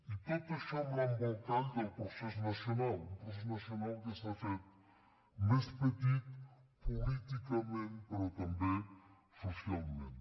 i tot això amb l’embolcall del procés nacional un pro·cés nacional que s’ha fet més petit políticament pe·rò també socialment